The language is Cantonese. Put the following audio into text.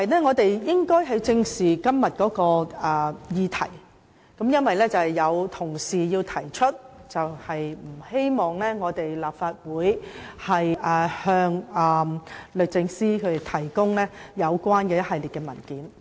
我們應該正視今天這項議題，因為有同事提出不希望立法會向律政司提供一系列文件。